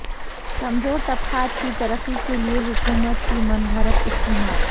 کمزور طبقات کی ترقی کیلئے حکومت کی منفرد اسکیمات